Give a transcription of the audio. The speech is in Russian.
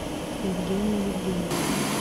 евгении евгеньевне